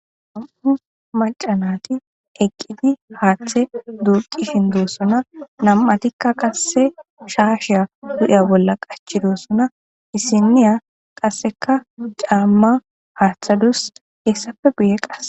ham'u malcanati eqqiti haaththe duurqi shindossuna nam'atikka qasse shaasheya du'ya bolla qachidossuna disiniya qasseka caamma haaththadus hessafe buye qass